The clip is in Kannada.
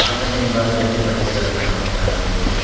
ಆತನ ಹಿಂಭಾಗದಲ್ಲಿ ಬಟ್ಟೆಗಳನ್ನು ನಾವು ಕಾಣಬಹುದು.